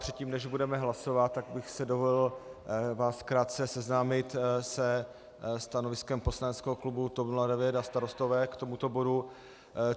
Předtím, než budeme hlasovat, tak bych si dovolil vás krátce seznámit se stanoviskem poslaneckého klubu TOP 09 a Starostové k tomuto bodu.